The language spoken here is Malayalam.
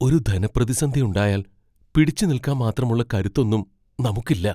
ഒരു ധനപ്രതിസന്ധി ഉണ്ടായാൽ പിടിച്ചുനിൽക്കാൻ മാത്രമുള്ള കരുത്തൊന്നും നമുക്കില്ല.